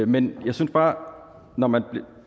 men jeg synes bare når man